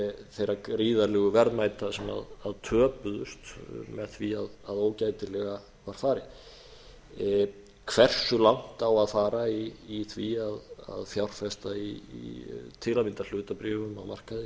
þeirra gríðarlegu verðmæta sem töpuðust með því að ógætilega var farið hversu langt á að fara í því að fjárfesta í til að mynda hlutabréfum á markaði